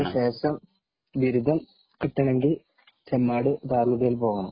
അതിനു ശേഷം ബിരുദം കിട്ടണമെങ്കില്‍ ചെമ്മാട് ദാറുല്‍ ഹുദയില്‍ പോകണം.